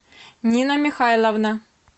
нина михайловна